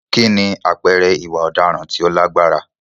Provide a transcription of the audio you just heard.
Kí ni àpẹẹrẹ ìwà ọ̀daràn tó lágbára?